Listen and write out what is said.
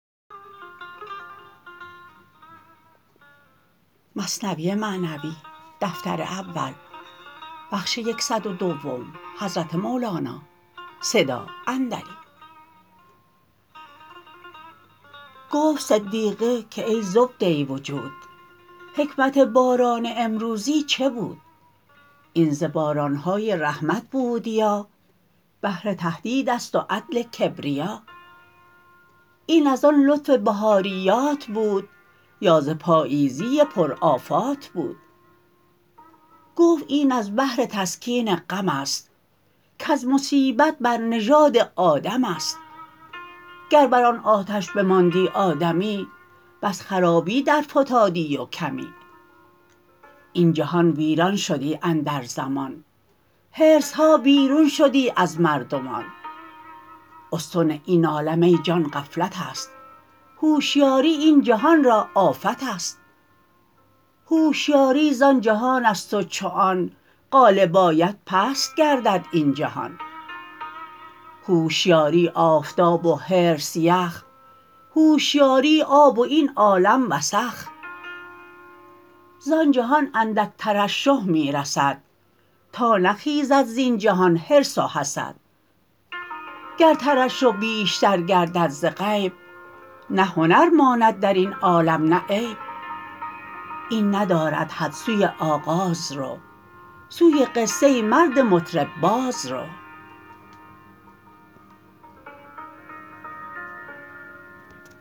گفت صدیقه که ای زبده وجود حکمت باران امروزین چه بود این ز بارانهای رحمت بود یا بهر تهدیدست و عدل کبریا این از آن لطف بهاریات بود یا ز پاییزی پر آفات بود گفت این از بهر تسکین غمست کز مصیبت بر نژاد آدمست گر بر آن آتش بماندی آدمی بس خرابی در فتادی و کمی این جهان ویران شدی اندر زمان حرصها بیرون شدی از مردمان استن این عالم ای جان غفلتست هوشیاری این جهان را آفتست هوشیاری زان جهانست و چو آن غالب آید پست گردد این جهان هوشیاری آفتاب و حرص یخ هوشیاری آب و این عالم وسخ زان جهان اندک ترشح می رسد تا نغرد در جهان حرص و حسد گر ترشح بیشتر گردد ز غیب نه هنر ماند درین عالم نه عیب این ندارد حد سوی آغاز رو سوی قصه مرد مطرب باز رو